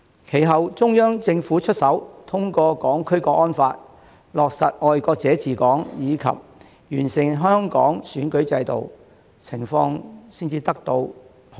其後，中央政府出手，通過《香港國安法》、落實"愛國者治港"，以及完善香港選舉制度，情況才能得以受控。